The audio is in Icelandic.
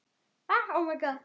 En kannski ekki allt.